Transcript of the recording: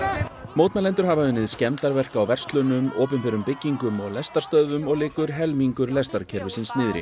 mótmælendur hafa unnið skemmdarverk á verslunum opinberum byggingum og lestarstöðvum og liggur helmingur lestarkerfisins niðri